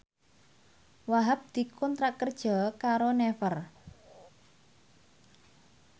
Wahhab dikontrak kerja karo Naver